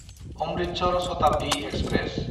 Amritsar Shatabdi express